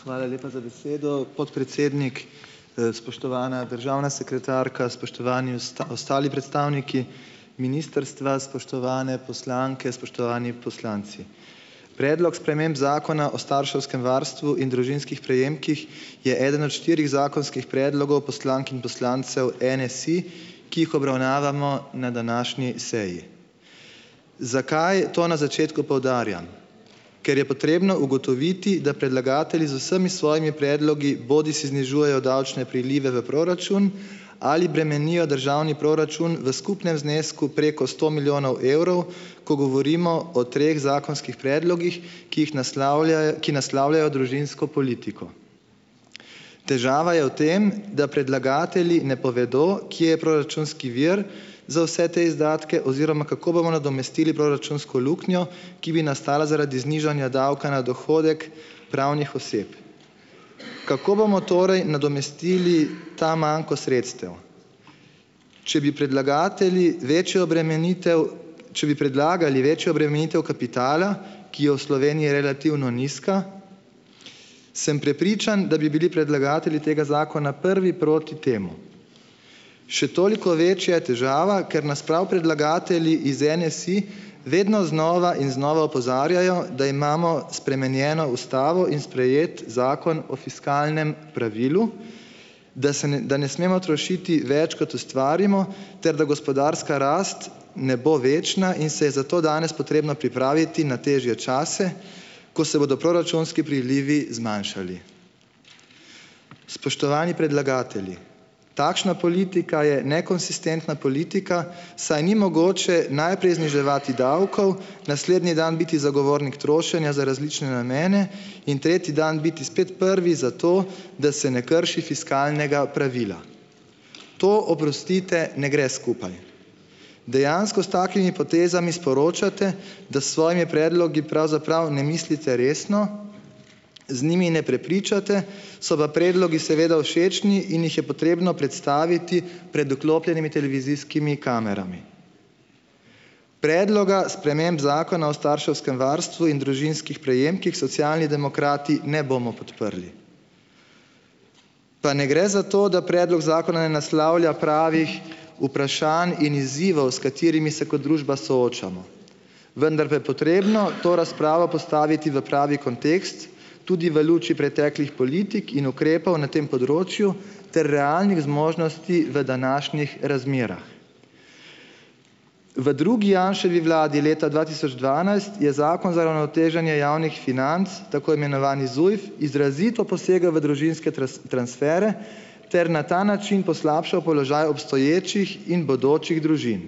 Hvala lepa za besedo, podpredsednik. Spoštovana državna sekretarka, spoštovani ostali predstavniki ministrstva, spoštovane poslanke, spoštovani poslanci. Predlog sprememb Zakona o starševskem varstvu in družinskih prejemkih je eden od štirih zakonskih predlogov poslank in poslancev NSi, ki jih obravnavamo na današnji seji. Zakaj to na začetku poudarjam? Ker je potrebno ugotoviti, da predlagatelji z vsemi svojimi predlogi bodisi znižujejo davčne prilive v proračun ali bremenijo državni proračun v skupnem znesku preko sto milijonov evrov, ko govorimo o treh zakonskih predlogih, ki jih ki naslavljajo družinsko politiko. Težava je v tem, da predlagatelji ne povedo, kje je proračunski vir za vse te izdatke oziroma kako bomo nadomestili proračunsko luknjo, ki bi nastala zaradi znižanja davka na dohodek pravnih oseb. Kako bomo torej nadomestili ta manko sredstev? Če bi predlagatelji večjo obremenitev, če bi predlagali večjo obremenitev kapitala, ki je v Sloveniji relativno nizka, sem prepričan, da bi bili predlagatelji tega zakona prvi proti temu. Še toliko večja je težava, ker nas prav predlagatelji iz NSi vedno znova in znova opozarjajo, da imamo spremenjeno ustavo in sprejeti Zakon o fiskalnem pravilu, da se ne, da ne smemo trošiti več, kot ustvarimo, ter da gospodarska rast ne bo večna in se je zato danes potrebno pripraviti na težje čase, ko se bodo proračunski prilivi zmanjšali. Spoštovani predlagatelji, takšna politika je nekonsistentna politika, saj ni mogoče najprej zniževati davkov, naslednji dan biti zagovornik trošenja za različne namene in tretji dan biti spet prvi za to, da se ne krši fiskalnega pravila. To, oprostite, ne gre skupaj. Dejansko s takimi potezami sporočate, da s svojimi predlogi pravzaprav ne mislite resno, z njimi ne prepričate, so pa predlogi seveda všečni in jih je potrebno predstaviti pred vklopljenimi televizijskimi kamerami. Predloga sprememb Zakona o starševskem varstvu in družinskih prejemkih Socialni demokrati ne bomo podprli. Pa ne gre za to, da predlog zakona ne naslavlja pravih vprašanj in izzivov, s katerimi se kot družba soočamo. Vendar pa je potrebno to razpravo postaviti v pravi kontekst, tudi v luči preteklih politik in ukrepov na tem področju ter realnih zmožnosti v današnjih razmerah. V drugi Janševi vladi leta dva tisoč dvanajst je Zakon za uravnoteženje javnih financ, tako imenovani ZUJF, izrazito posegel v družinske transfere ter na ta način poslabšal položaj obstoječih in bodočih družin.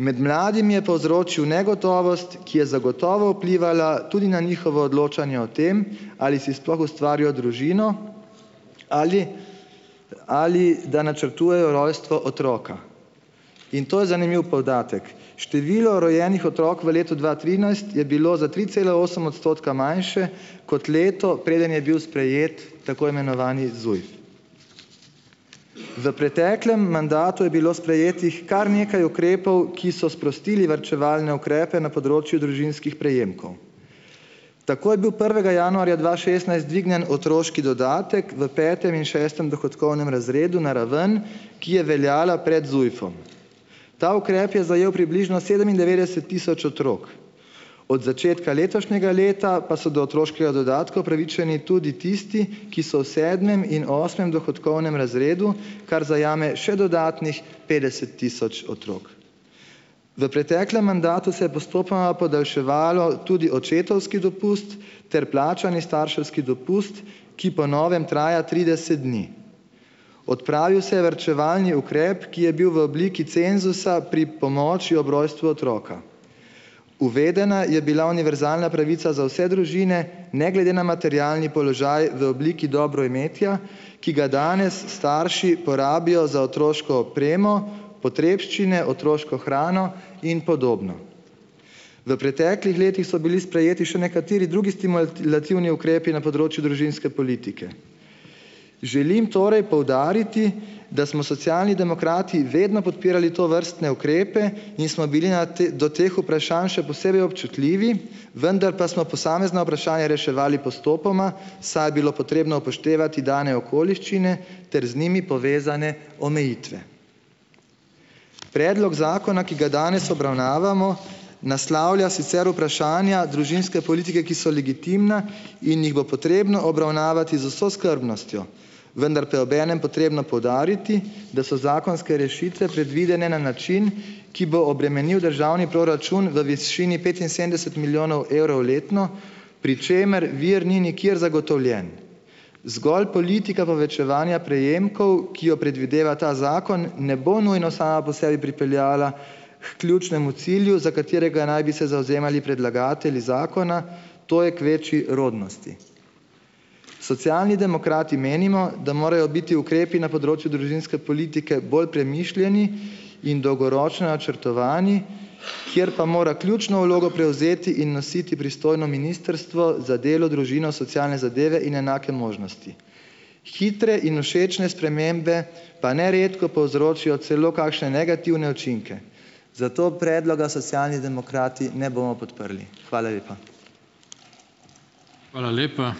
Med mladimi je povzročil negotovost, ki je zagotovo vplivala tudi na njihovo odločanje o tem, ali si sploh ustvarijo družino ali ali da načrtujejo rojstvo otroka, in to je zanimiv podatek, število rojenih otrok v letu dva trinajst je bilo za tri cela osem odstotka manjše kot leto, preden je bil sprejet tako imenovani ZUJF. V preteklem mandatu je bilo sprejetih kar nekaj ukrepov, ki so sprostili varčevalne ukrepe na področju družinskih prejemkov. Tako je bil prvega januarja dva šestnajst dvignjen otroški dodatek v petem in šestem razredu na ravno dohodkovnem, ki je veljala pred ZUJF-om. Ta ukrep je zajel približno sedemindevetdeset tisoč otrok. Od začetka letošnjega leta pa so do otroškega dodatka upravičeni tudi tisti, ki so v sedmem in osmem dohodkovnem razredu, kar zajame še dodatnih petdeset tisoč otrok. V preteklem mandatu se je postopoma podaljševalo tudi očetovski dopust ter plačani starševski dopust, ki po novem traja trideset dni. Odpravil se je varčevalni ukrep, ki je bil v obliki cenzusa pri pomoči ob rojstvu otroka. Uvedena je bila univerzalna pravica za vse družine ne glede na materialni položaj v obliki dobroimetja, ki ga danes starši porabijo za otroško opremo, potrebščine, otroško hrano in podobno. V preteklih letih so bili sprejeti še nekateri drugi stimulativni ukrepi na področju družinske politike. Želim torej poudariti, da smo Socialni demokrati vedno podpirali tovrstne ukrepe in smo bili na do teh vprašanj še posebej občutljivi, vendar pa smo posamezna vprašanja reševali postopoma, saj je bilo potrebno upoštevati dane okoliščine ter z njimi povezane omejitve. Predlog zakona, ki ga danes obravnavamo, naslavlja sicer vprašanja družinske politike, ki so legitimna in jih bo potrebno obravnavati z vso skrbnostjo, vendar pa je obenem potrebno poudariti, da so zakonske rešitve predvidene na način, ki bo obremenil državni proračun v višini petinsedemdeset milijonov evrov letno, pri čemer vir ni nikjer zagotovljen. Zgolj politika povečevanja prejemkov, ki jo predvideva ta zakon, ne bo nujno sama po sebi pripeljala h ključnemu cilju, za katerega naj bi se zavzemali predlagatelji zakona, to je k večji rodnosti. Socialni demokrati menimo, da morajo biti ukrepi na področju družinske politike bolj premišljeni in dolgoročno načrtovani, kjer pa mora ključno vlogo prevzeti in nositi pristojno Ministrstvo za delo, družino, socialne zadeve in enake možnosti. Hitre in všečne spremembe pa neredko povzročijo celo kakšne negativne učinke. Zato predloga Socialni demokrati ne bomo podprli. Hvala lepa.